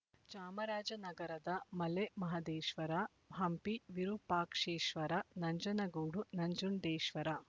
ಚಾಮರಾಜನಗರದ ಮಲೆ ಮಹದೇಶ್ವರ ಹಂಪಿ ವಿರೂಪಾಕ್ಷೇಶ್ವರ ನಂಜನಗೂಡು ನಂಜುಂಡೇಶ್ವರ